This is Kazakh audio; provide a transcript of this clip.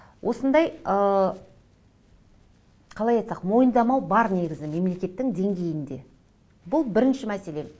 осындай ы қалай айтсақ мойындамау бар негізі мемлекеттің деңгейінде бұл бірінші мәселе